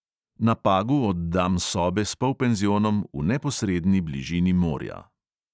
Na pagu oddam sobe s polpenzionom, v neposredni bližini morja.